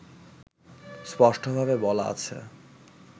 স্পষ্টভাবে বলা আছে